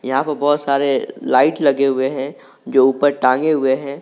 यहा पे बहोत सारे लाइट लगे हुए है जो ऊपर टांगे हुए हैं।